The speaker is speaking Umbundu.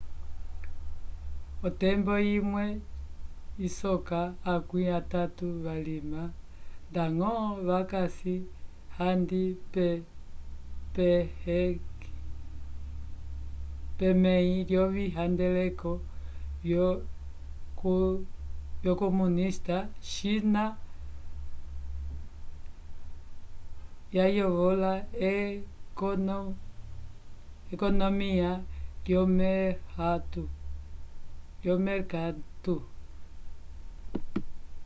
otembo imwe isoka akwĩ atatu valima ndañgo vakasi handi pemẽhi lyovihandeleko vyo comunista china yayovola ekonomiya lyomerkatu